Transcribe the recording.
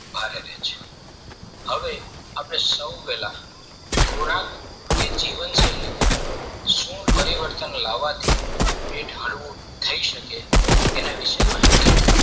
બહાર આવે છે હવે આપણે સૌ પહેલા ખોરાક એ જીવન શૈલી માં સુ પરિવર્તન લેવાથી પેટ હળવું થઈ શકે એના વિશે માહિતી